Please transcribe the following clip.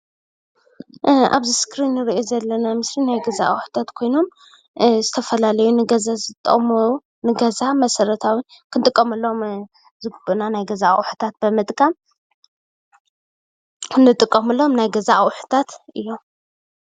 ኣብዚ እስክሪን እንርኦም ዘለና ምስሊ ናይ ገዛ ኣቁሑታት ዝተፈላለዩ ኮይኖም ክንጥቅመሎም ዝግባኣና ናይ ገዛ ኣቁሑታት እዮም።